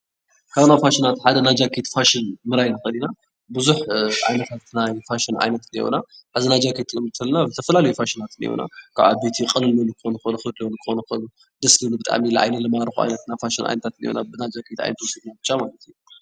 ካብ ናይ ፋሽናት ሓደ ናይ ጃኬት ፋሽን ምርኣይ ንክእል ኢና። ቡዝሕ ዓይነታይ ናይ ፋሽን ዓይነት እኒአውና:: ሕዚ ናይ ጃኬት ንምፍላጥ ዝተፈላለዩ ፋሽናት እኒአውና። ካብ ዓበይቲ ቅልል ዝበሉ ክኮኑ ይክእሉ ክብድ ዝበሉ ይክእሉ ደስ ዝብል ብጣዕሚ ንዓይኒ ዝማርኩ ዓይነት ናይ ፋሽን ዓይነታት እኒአውና ብ ናይ ጃኬት ዓይነት ብቻ ማለት እዩ።